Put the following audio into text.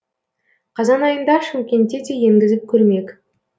қазан айында шымкентте де енгізіп көрмек